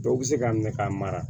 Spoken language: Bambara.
Dɔw bɛ se ka minɛ ka mara